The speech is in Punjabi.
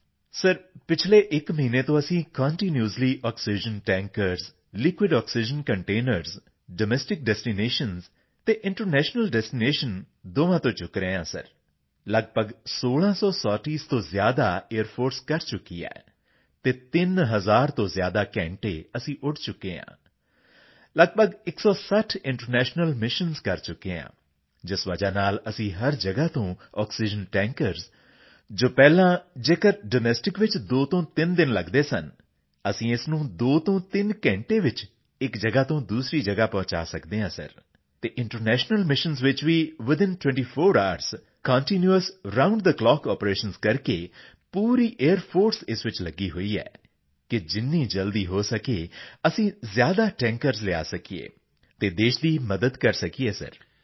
ਜੀਆਰਪੀ ਸੀਪੀਟੀ ਸਰ ਪਿਛਲੇ ਇੱਕ ਮਹੀਨੇ ਤੋਂ ਅਸੀਂ continuously oxygen tankers liquid oxygen containers domestic destination ਅਤੇ ਇੰਟਰਨੈਸ਼ਨਲ ਡੈਸਟੀਨੇਸ਼ਨ ਦੋਵਾਂ ਤੋਂ ਚੁੱਕ ਰਹੇ ਹਾਂ ਸਰ ਲੱਗਭਗ 1600 ਸੋਰਟੀਜ਼ ਤੋਂ ਜ਼ਿਆਦਾ ਏਆਈਆਰ ਫੋਰਸ ਕਰ ਚੁੱਕੀ ਹੈ ਅਤੇ 3000 ਤੋਂ ਜ਼ਿਆਦਾ ਘੰਟੇ ਅਸੀਂ ਉੱਡ ਚੁੱਕੇ ਹਾਂ ਲੱਗਭਗ 160 ਇੰਟਰਨੈਸ਼ਨਲ ਮਿਸ਼ਨਜ਼ ਕਰ ਚੁੱਕੇ ਹਾਂ ਜਿਸ ਵਜ੍ਹਾ ਨਾਲ ਅਸੀਂ ਹਰ ਜਗ੍ਹਾ ਤੋਂ ਆਕਸੀਜਨ ਟੈਂਕਰਜ਼ ਜੋ ਪਹਿਲਾਂ ਜੇਕਰ ਡੋਮੈਸਟਿਕ ਵਿੱਚ ਦੋ ਤੋਂ ਤਿੰਨ ਦਿਨ ਲੱਗਦੇ ਸਨ ਅਸੀਂ ਇਸ ਨੂੰ 2 ਤੋਂ 3 ਘੰਟੇ ਵਿੱਚ ਇੱਕ ਜਗ੍ਹਾ ਤੋਂ ਦੂਸਰੀ ਜਗ੍ਹਾ ਪਹੁੰਚਾ ਸਕਦੇ ਹਾਂ ਸਰ ਅਤੇ ਇੰਟਰਨੈਸ਼ਨਲ ਮਿਸ਼ਨਜ਼ ਵਿੱਚ ਵੀ within 24 hours continuous round the clock operations ਕਰਕੇ ਪੂਰੀ ਏਆਈਆਰ ਫੋਰਸ ਇਸ ਵਿੱਚ ਲੱਗੀ ਹੋਈ ਹੈ ਕਿ ਜਿੰਨੀ ਜਲਦੀ ਹੋ ਸਕੇ ਅਸੀਂ ਜ਼ਿਆਦਾ ਟੈਂਕਰਜ਼ ਲਿਆ ਸਕੀਏ ਅਤੇ ਦੇਸ਼ ਦੀ ਮਦਦ ਕਰ ਸਕੀਏ ਸਰ